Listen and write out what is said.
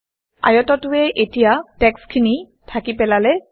আয়তটোৱে এতিয়া টেক্সট্খিনি ঢাকি পেলালে